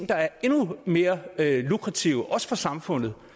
der er endnu mere lukrative også for samfundet